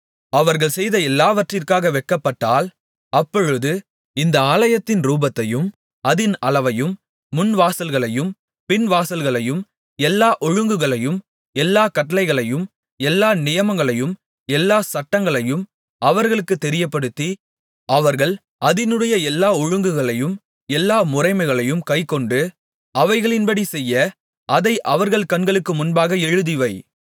அவர்கள் செய்த எல்லாவற்றிற்காக வெட்கப்பட்டால் அப்பொழுது இந்த ஆலயத்தின் ரூபத்தையும் அதின் அளவையும் முன்வாசல்களையும் பின் வாசல்களையும் எல்லா ஒழுங்குகளையும் எல்லாக் கட்டளைகளையும் எல்லா நியமங்களையும் எல்லாச் சட்டங்களையும் அவர்களுக்குத் தெரியப்படுத்தி அவர்கள் அதினுடைய எல்லா ஒழுங்குகளையும் எல்லா முறைமைகளையும் கைக்கொண்டு அவைகளின்படி செய்ய அதை அவர்கள் கண்களுக்கு முன்பாக எழுதிவை